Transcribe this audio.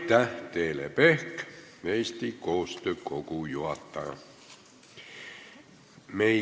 Aitäh, Teele Pehk, Eesti Koostöö Kogu juhataja!